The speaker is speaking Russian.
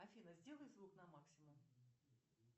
афина сделай звук на максимум